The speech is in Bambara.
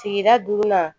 Sigida duurunan